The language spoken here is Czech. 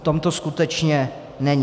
V tom to skutečně není.